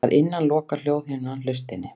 Að innan lokar hljóðhimnan hlustinni.